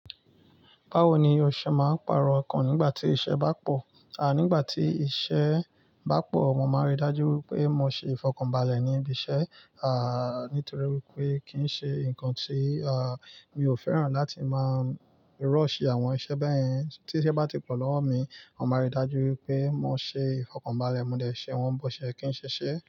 Báwo ni ọṣẹ máa ń pàrọ̀ ǹkan nígbà tí iṣẹ́ bá pò? À nígbà tí iṣẹ́ bá pò, mo máa rí i dájú wípé mo ṣe ìfọ̀kànbalẹ̀ ní ibi iṣẹ́. Àá nítorí wípé kì í ṣe ǹkan tí, à, mi ò fẹ́ràn láti máa rọ́ọ̀ṣì àwọn iṣẹ́ bẹ́yẹn. Tí iṣẹ́ bá ti pọ̀ lọ́wọ́ mi, màá rí i dájú wípé mo ṣe ìfọ̀kànbalẹ̀. Mo dẹ ìṣe wọ́n ń bọ́ ṣe kí ń ṣẹṣẹ.